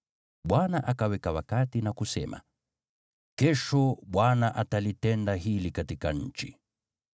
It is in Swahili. Bwana akaweka wakati na kusema, “Kesho Bwana atalitenda hili katika nchi.”